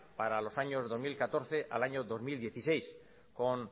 para los años dos mil catorce al año dos mil dieciséis con